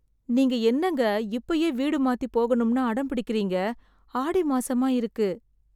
நீங்க என்னங்க இப்பயே வீடு மாத்திப் போகணும்னு அடம் பிடிக்கிறீங்க. ஆடி மாசமா இருக்கு.